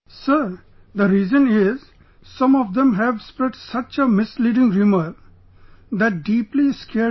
Sir, the reason is some of them have spread such a misleading rumour...that deeply scared people